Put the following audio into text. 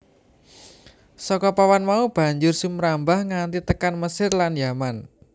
Saka papan mau banjur sumrambah nganti tekan Mesir lan Yaman